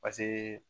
Paseke